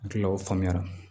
N hakilila o faamuya la